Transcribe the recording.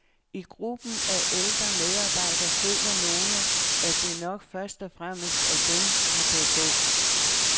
I gruppen af ældre medarbejdere føler nogle, at det nok først og fremmest er dem, der bør gå.